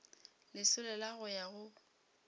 lesolo la go ya go